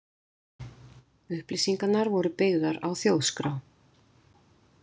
Upplýsingarnar voru byggðar á Þjóðskrá.